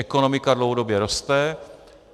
Ekonomika dlouhodobě roste.